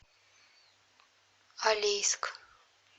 алейск